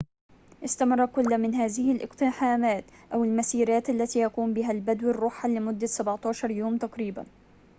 استمرت كل من هذه الاقتحامات أو المسيرات التي يقوم بها البدو الرُحل لمدة 17 يومًا تقريبًا